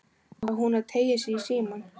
Á hún að teygja sig í símann?